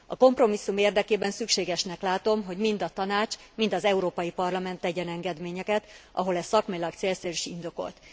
A kompromisszum érdekében szükségesnek látom, hogy mind a Tanács, mind az Európai Parlament tegyen engedményeket, ahol ez szakmailag célszerű és indokolt.